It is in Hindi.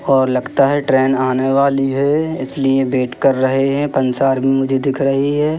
और लगता है ट्रेन आने वाली है इसलिए वेट कर रहे हैं पंसार मुझे दिख रही है।